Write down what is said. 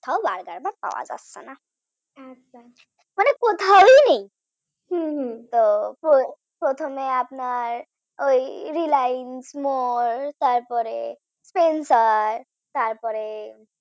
কোথাও burger bun পাওয়া যাচ্ছে না মানে কোথাও নেই হম হম তো প্রথমে আপনার ওই RelianceMorespencers তারপরে